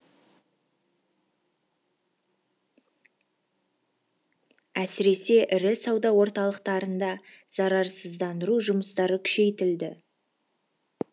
әсіресе ірі сауда орталықтарында зарарсыздандыру жұмыстары күшейтілді